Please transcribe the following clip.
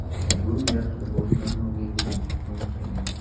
Bu yaxshi boshlanma bo‘ldi deyish mumkin.